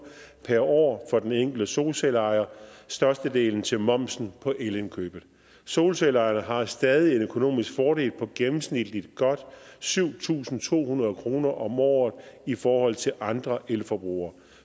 per år for den enkelte solcelleejer og størstedelen er til momsen på elindkøbet solcelleejerne har stadig en økonomisk fordel på gennemsnitligt godt syv tusind to hundrede kroner om året i forhold til andre elforbrugere